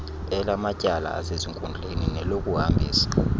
elamatyala asezinkundleni nelokuhambisa